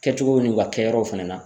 Kɛcogow n'u ka kɛyɔrɔw fɛnɛ na